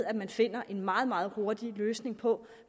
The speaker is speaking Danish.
at man finder en meget meget hurtig løsning på